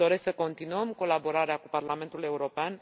Îmi doresc să continuăm colaborarea cu Parlamentul European.